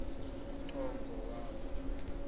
nto ngo kwabo